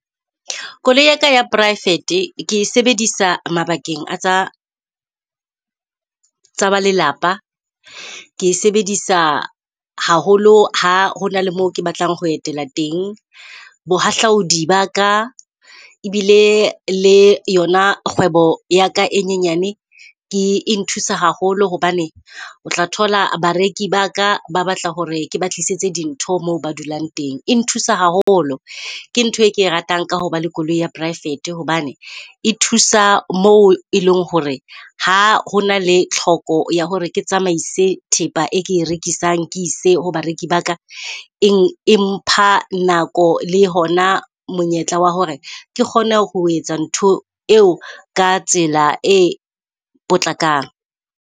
Koloi ya ka ya private-e ke sebedisa mabakeng a tsa tsa ba lelapa. Ke sebedisa haholo ha hona le moo ke batlang ho etela teng. Bohahlaudi ba ka ebile le yona kgwebo yaka e nyenyane. Ke e nthusa haholo hobane o tla thola bareki ba ka ba batla hore ke ba tlisitse di ntho moo ba dulang teng. E nthusa haholo ke ntho e ke e ratang ka hoba le koloi ya private-e, hobane e thusa moo e leng hore ha hona le tlhoko ya hore ke tsamaise thepa eke e rekisang ke ise ho bareki ba ka. Empha nako le hona monyetla wa hore ke kgone ho etsa ntho eo ka tsela e potlakang.